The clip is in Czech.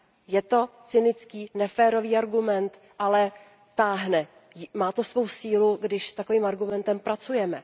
Je to cynický, neférový argument, ale táhne, má to svou sílu, když s takovým argumentem pracujeme.